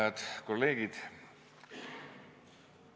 Hääd kolleegid!